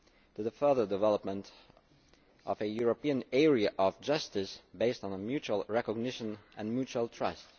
to the further development of a European area of justice based on mutual recognition and mutual trust.